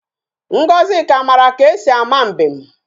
Ngozika mara ka e si ama mbem